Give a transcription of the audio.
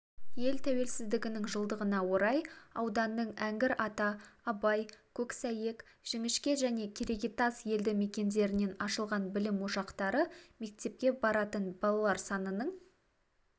ел тәуелсіздігінің жылдығына орай ауданның әңгір ата абай көксәйек жіңішке және керегетас елді мекендерінен ашылған білім ошақтары мектепке баратын балалар санының